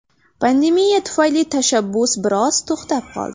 Pandemiya tufayli tashabbus biroz to‘xtab qoldi.